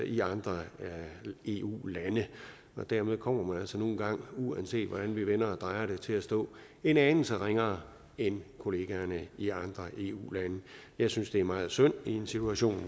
i andre eu lande dermed kommer man altså nu engang uanset hvordan vi vender og drejer det til at stå en anelse ringere end kollegaerne i andre eu lande jeg synes det er meget synd i en situation